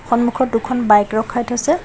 সন্মুখত দুখন বাইক ৰখাই থৈছে।